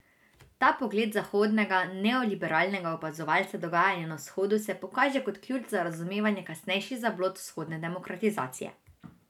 Ta pogled zahodnega neoliberalnega opazovalca dogajanja na vzhodu se pokaže kot ključ za razumevanje kasnejših zablod vzhodne demokratizacije.